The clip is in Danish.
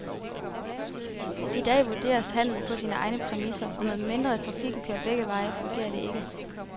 I dag vurderes handelen på sine egne præmisser, og medmindre trafikken kører begge veje, fungerer det ikke.